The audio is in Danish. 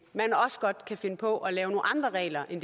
man også godt kan finde på at lave nogle andre regler end